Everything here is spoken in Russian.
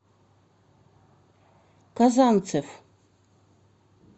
казанцев